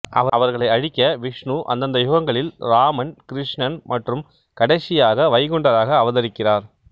அவர்களை அழிக்க விஷ்ணு அந்தந்த யுகங்களில் ராமன் கிருஷ்ணன் மற்றும் கடைசியாக வைகுண்டராக அவதரிக்கிறார்